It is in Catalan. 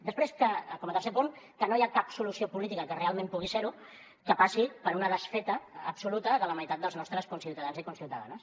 després com a tercer punt que no hi ha cap solució política que realment pugui ser ho que passi per una desfeta absoluta de la meitat dels nostres conciutadans i conciutadanes